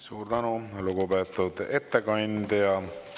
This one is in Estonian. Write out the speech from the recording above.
Suur tänu, lugupeetud ettekandja!